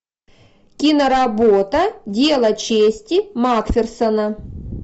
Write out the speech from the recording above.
киноработа дело чести макферсона